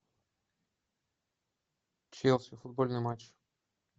челси футбольный матч